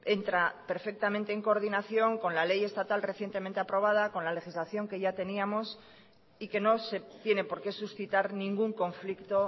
entra perfectamente en coordinación con la ley estatal recientemente aprobada con la legislación que ya teníamos y que no se tiene por qué suscitar ningún conflicto